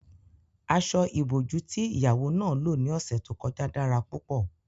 Aṣọ-ìbojú tí ìyàwó náà lò ní ọ̀sẹ̀ tó kọjá dára púpọ̀